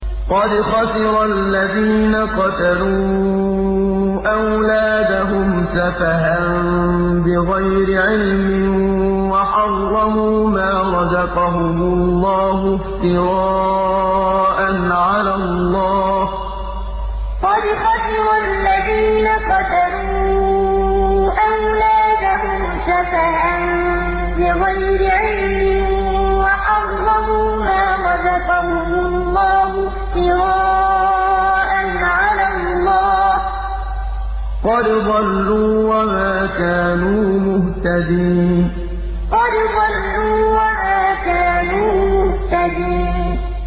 قَدْ خَسِرَ الَّذِينَ قَتَلُوا أَوْلَادَهُمْ سَفَهًا بِغَيْرِ عِلْمٍ وَحَرَّمُوا مَا رَزَقَهُمُ اللَّهُ افْتِرَاءً عَلَى اللَّهِ ۚ قَدْ ضَلُّوا وَمَا كَانُوا مُهْتَدِينَ قَدْ خَسِرَ الَّذِينَ قَتَلُوا أَوْلَادَهُمْ سَفَهًا بِغَيْرِ عِلْمٍ وَحَرَّمُوا مَا رَزَقَهُمُ اللَّهُ افْتِرَاءً عَلَى اللَّهِ ۚ قَدْ ضَلُّوا وَمَا كَانُوا مُهْتَدِينَ